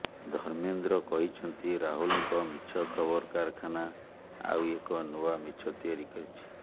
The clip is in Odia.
ଧର୍ମେନ୍ଦ୍ର କହିଛନ୍ତି ରାହୁଲଙ୍କ ମିଛ ଖବର କାରଖାନା ଆଉ ଏକ ନୂଆ ମିଛ ତିଆରି କରିଛି